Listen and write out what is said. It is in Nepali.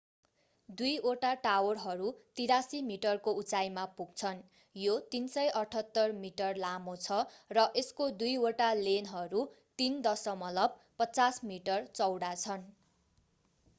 दुई वटा टावरहरू 83 मिटरको उचाइमा पुग्छन् यो 378 मिटर लामो छ र यसको दुई वटा लेनहरू 3.50 मिटर चौडा छन्